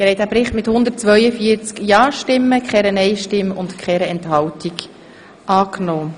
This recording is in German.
Sie haben den Bericht einstimmig zur Kenntnis genommen.